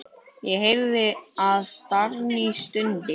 Ég heyrði að Dagný stundi.